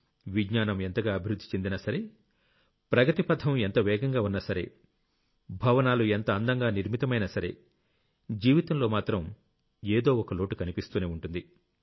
విజ్ఞానం ఎంతగా అభివృద్ధి చెందినా సరే ప్రగతి పథం ఎంత వేగంగా ఉన్నాసరే భవనాలు ఎంత అందంగా నిర్మితమైనా సరే జీవితంలో మాత్రం ఏదో ఒక లోటు కనిపిస్తూనే ఉంటుంది